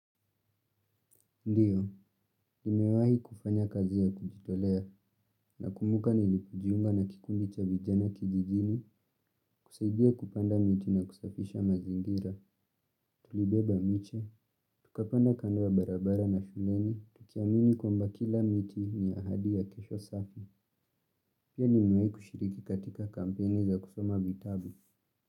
Ndiyo, nimewahi kufanya kazi ya kujitolea, nakumbuka nilipojiunga na kikundi cha vijana kijijini, kusaidia kupanda miti na kusafisha mazingira, tulibeba miche, tukapanda kando ya barabara na shuleni, tukiamini kwamba kila miti ni ahadi ya kesho safi, pia nimewahi kushiriki katika kampeni za kusoma vitabu.